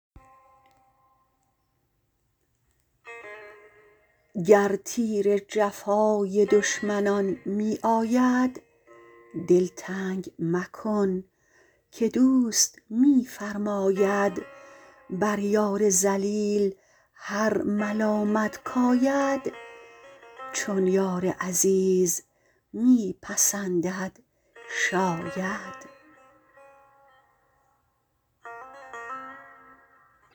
گر تیر جفای دشمنان می آید دل تنگ مکن که دوست می فرماید بر یار ذلیل هر ملامت کاید چون یار عزیز می پسندد شاید